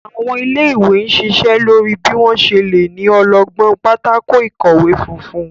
Àwọn ilé-ìwé n ṣíṣe lórí bí wón ṣe lẹ ní ọlọgbọn Pátákó ìkọ̀wé funfun.